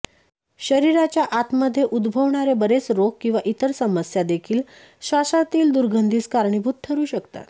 शरीराच्या आतमध्ये उद्भवणारे बरेच रोग किंवा इतर समस्या देखील श्वासांतील दुर्गंधीस कारणीभूत ठरू शकतात